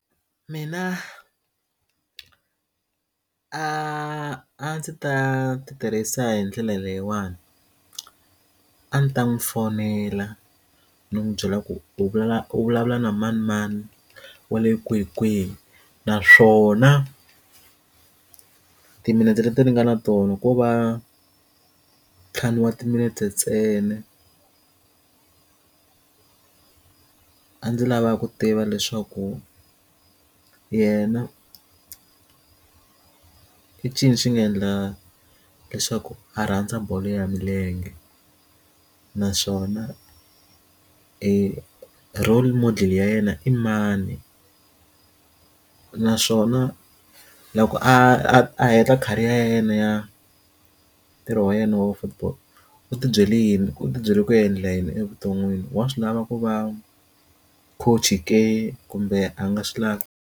Mina a ndzi ta ti tirhisa hi ndlela leyiwani a ndzi ta n'wi fonela ndzi n'wi byela ku u vula u vulavula na manemane wale kwinikwini naswona timinete leti nga na tona ko va nthlanu wa timinete ntsena a ndzi lava ku tiva leswaku yena i ncini xi nga endla leswaku a rhandza bolo ya milenge naswona e role model ya yena i mani a naswona loko a heta career ya yena ya ntirho wa yena wa football u tibyele yini u tibyele ku endla yini evuton'wini wa swi lava ku va coach ke kumbe a nga swi lavi.